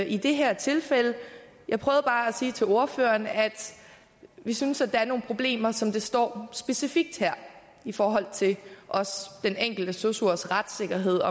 i det her tilfælde jeg prøvede bare at sige til ordføreren at vi synes der er nogle problemer som består specifikt her i forhold til den enkelte sosus retssikkerhed